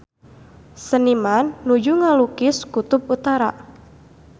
Seniman nuju ngalukis Kutub Utara